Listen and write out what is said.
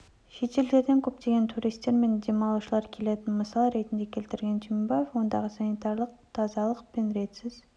шетелдерден көптеген туристер мен демалушылар келетінін мысал ретінде келтірген түймебаев ондағы санитарлық тазалық пен ретсіз